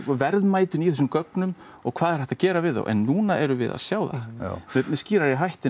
verðmætinu í þessum gögnum og hvað er hægt að gera við þau en núna erum við að sjá það með skýrari hætti